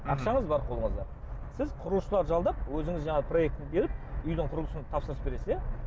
ақшаңыз бар қолыңызда сіз құрылысшылар жалдап өзіңіз жаңағы проектіні беріп үйдің құрылысын тапсырысын бересіз иә